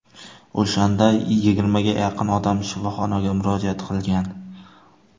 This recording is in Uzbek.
O‘shanda yigirmaga yaqin odam shifoxonaga murojaat qilgan.